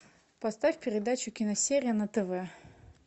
поставь передачу киносерия на тв